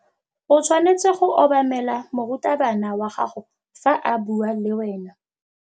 O tshwanetse go obamela morutabana wa gago fa a bua le wena.